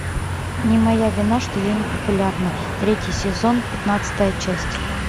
не моя вина что я не популярна третий сезон пятнадцатая часть